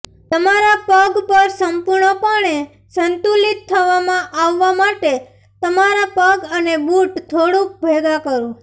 તમારા પગ પર સંપૂર્ણપણે સંતુલિત થવામાં આવવા માટે તમારા પગ અને બૂટ થોડુંક ભેગા કરો